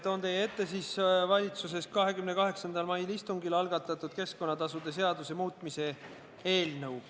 Toon teie ette valitsuses 28. mai istungil algatatud keskkonnatasude muutmise eelnõu.